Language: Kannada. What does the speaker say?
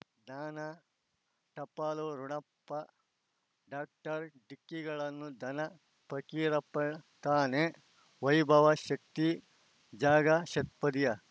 ಜ್ಞಾನ ಟಪಾಲು ರೂಣಪ್ಪ ಡಾಕ್ಟರ್ ಢಿಕ್ಕಿ ಗಳನ್ನು ಧನ ಫಕೀರಪ್ಪ ಳಂತಾನೆ ವೈಭವ್ ಶಕ್ತಿ ಝಗಾ ಷಟ್ಪದಿಯ